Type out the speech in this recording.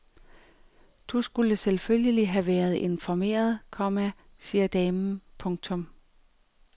Du skulle selvfølgelig have været informeret, komma siger damen. punktum